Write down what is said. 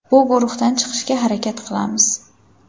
Bu guruhdan chiqishga harakat qilamiz.